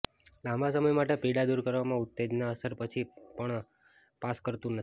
લાંબા સમય માટે પીડા દૂર કરવામાં ઉત્તેજનના અસર પછી પણ પાસ કરતું નથી